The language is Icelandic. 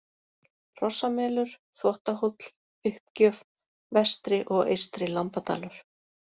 Hrossamelur, Þvottahóll, Uppgjöf, Vestri- og Eystri-Lambadalur